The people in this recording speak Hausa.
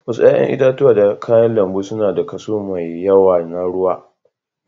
Wasu 'ƴa'ƴan itatuwa da kayan lambu suna da kaso mai yawa na ruwa.